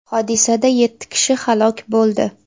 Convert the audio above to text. Hodisada yetti kishi halok bo‘ldi.